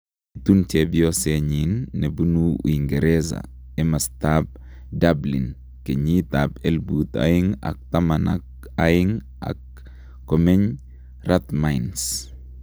kiitun chepyosenyiin nepunu uingereza imastaap Dublin kenyiit ap elput aeng ak taman ak aeng ak komeny'Rathmines